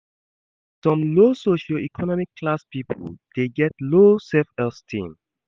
Some low socio-economic class pipo de get low self esteem